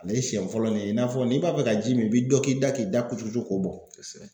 Ne siɲɛ fɔlɔ ɲe i n'a fɔ n'i b'a fɛ ka ji min i bi dɔ k'i da k'i da kujukuju k'o bɔn. Kosɛbɛ.